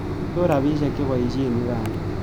Achon rabisiek cheboisien uganda